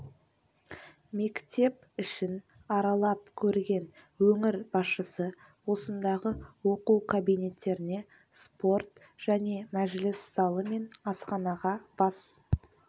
мектеп ішін аралап көрген өңір басшысы осындағы оқу кабинеттеріне спорт және мәжіліс залы мен асханаға бас